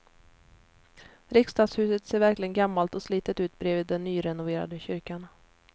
Riksdagshuset ser verkligen gammalt och slitet ut bredvid den nyrenoverade kyrkan.